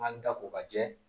An da ko ka jɛ